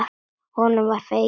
Honum var fengin hún.